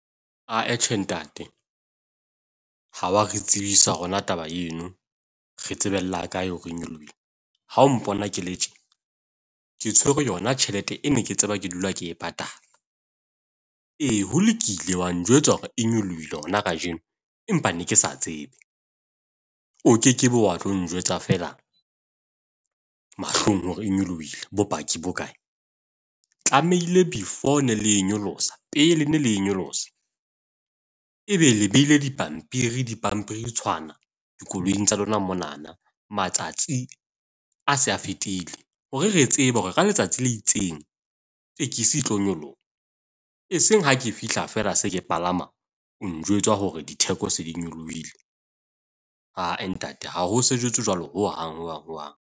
Atjhe ntate ha wa re tsebisa rona taba eno. Re tsebella kae hore e nyolohile? Ha o mpona ke le tje ke tshwerwe yona tjhelete e ne ke tseba ke dula ke e patala. E, ho lokile wa njwetsa hore e nyolohile hona kajeno. Empa ne ke sa tsebe. O kekebe wa tlo njwetsa feela mahlong hore e nyolohile. Bopaki bo kae? Tlamehile before ne le e nyolosa pele ne le e nyolosa e be le behile dipampiri di pampiritshwana dikoloing tsa lona monana matsatsi a se a fetile. Hore re tsebe hore ka letsatsi le itseng tekesi e tlo nyoloha. E seng ha ke fihla fela se ke palama o njwetsa hore ditheko se di nyolohile. Ae, ntate, ha ho sejetswe jwalo hohang hohang.